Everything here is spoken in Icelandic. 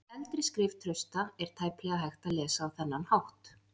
Eldri skrif Trausta er tæplega hægt að lesa á þennan hátt.